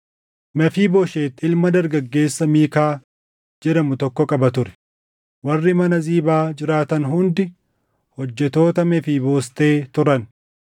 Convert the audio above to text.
Mefiibooshet ilma dargaggeessa Miikaa jedhamu tokko qaba ture; warri mana Ziibaa jiraatan hundi hojjettoota Mefiiboostee turan.